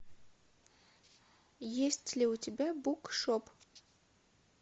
есть ли у тебя букшоп